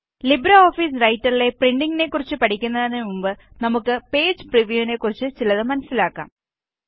LibreOffice റൈറ്ററിലെ printing നെ കുറിച്ച് പതിക്കുന്നതിന് മുന്പ് നമുക്ക് പേജ് പ്രിവ്യൂ വിനെ കുറിച്ച് ചിലത് മനസിലാക്കാം